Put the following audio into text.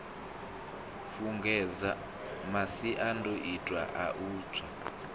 fhungudze masiandoitwa a u tsa